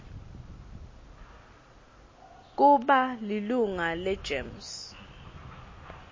kuba lilunga legems